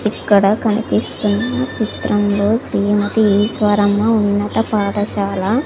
ఇక్కడ కనిపిస్తున్న చిత్రంలో శ్రీమతి ఈశ్వరమ్మ ఉన్నత పాఠశాల--